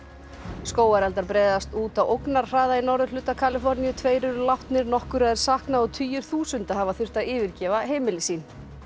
skógareldar breiðast út á ógnarhraða í norðurhluta Kaliforníu tveir eru látnir nokkurra er saknað og tugir þúsunda hafa þurft að yfirgefa heimili sín